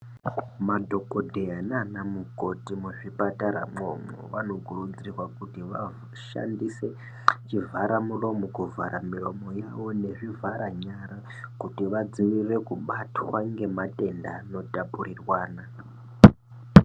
Madhokodheya naanamukoti muzvipataramwo umwo, vanokurudzirwa kuti vashandise chivharamuromo kuvhara miromo yavo nezvivharanyara kuti vadzivirire kubatwa ngematenda anotapurirwana.